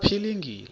kwaphilingile